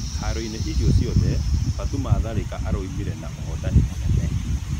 Haroinĩ icio ciothe Batũma Tharĩka aumire na ũhotani mũnene.